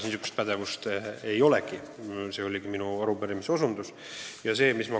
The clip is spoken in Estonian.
Sellele ma soovisingi osutada.